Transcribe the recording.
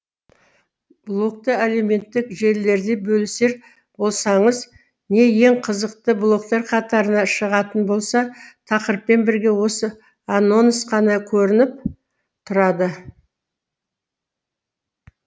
блогты әлеуметтік желілерде бөлісер болсаңыз не ең қызықты блогтар қатарына шығатын болса тақырыппен бірге осы анонс қана көрініп тұрады